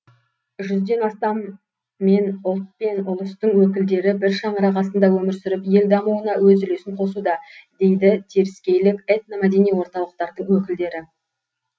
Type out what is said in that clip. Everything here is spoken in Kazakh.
жүзден астам мен ұлт пен ұлыстың өкілдері бір шаңырақ астында өмір сүріп ел дамуына өз үлесін қосуда дейді теріскейлік этномәдени орталықтардың өкілдері